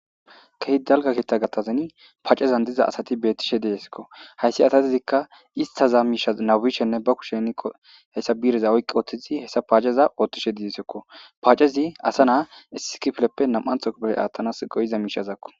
Kehi dalga kiita gattazani paaccezan diza asati beettishe deesekko hayssi atatizikka istaza miisha nabishenne ba kushenko hessa biireza oyqqi ooththizi hessa paaceza oothtishe diesekko paacezi asa naa isikifleppe nam'antho kopeley aathtanas go7iza miishazakko.